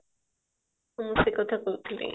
ହ୍ମ ସେ କଥା କହୁଥିଲି